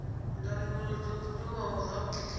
ndangulo zwo buliwa zwavhudi kha